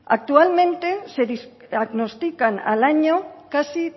actualmente se diagnostican al año casi